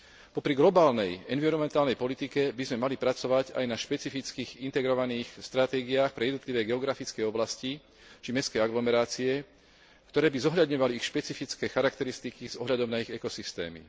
Popri globálnej environmentálnej politike by sme mali pracovať aj na špecifických integrovaných stratégiách pre jednotlivé geografické oblasti či mestské aglomerácie, ktoré by zohľadňovali špecifické charakteristiky s ohľadom na ich ekosystémy.